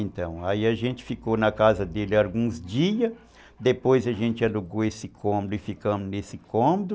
Então, aí a gente ficou na casa dele alguns dias, depois a gente alugou esse cômodo e ficamos nesse cômodo.